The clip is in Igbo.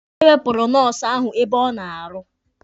E wepụrụ nọọsụ ahụ ebe ọ na-arụ